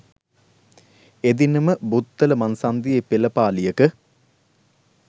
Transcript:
එදිනම බුත්තල මංසන්‍ධියේ පෙළපාලියක